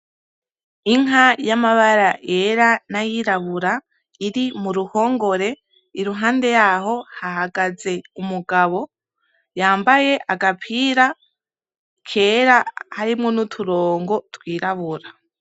Inka yamabara yera nayirabura iri muruhongore iruhande yaho hahagaze umugabo yambaye agapira kera, harimwo nuturongo twirabura.